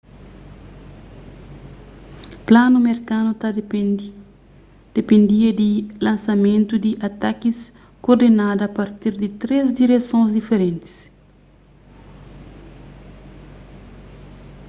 planu merkanu ta dipendia di lansamentu di atakis kordenadu a partir di três diresons diferentis